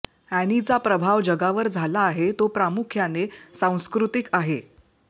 अॅनीचा प्रभाव जगावर झाला आहे तो प्रामुख्याने सांस्कृतिक आहे